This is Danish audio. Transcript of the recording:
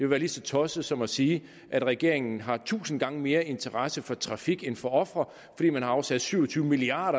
være lige så tosset som at sige at regeringen har tusind gange mere interesse for trafik end for ofre fordi man har afsat syv og tyve milliard